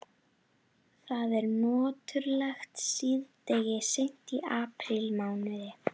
Það er nöturlegt síðdegi seint í aprílmánuði.